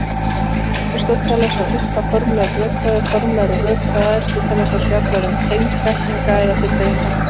Aristóteles og upphaf formlegrar rökfræði Formleg rökfræði Aristótelesar fjallar um tengsl setninga eða fullyrðinga.